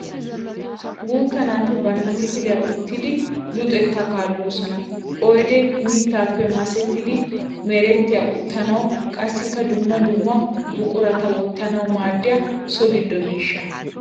Guutta naati bantta kifilaya uttiddi luxetta kaalossonna. Oydde mittappe massettiddi merettiya uttanawu qassikka dumma dumma buqurata wottanawu maadiya so gido miishsha.